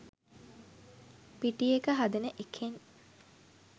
පිටි එක හදන එකෙන්